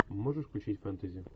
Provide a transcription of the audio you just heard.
можешь включить фэнтези